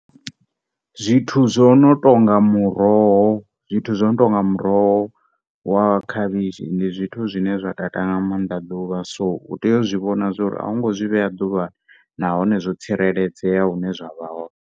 Zwithu zwo no tonga muroho, zwithu zwo no tonga muroho wa khavhishi ndi zwithu zwine zwa tata nga mannḓa ḓuvha so u tea u zwi vhona uri au ngo zwi vhea ḓuvhani na hone zwo tsireledzea hune zwavha hone.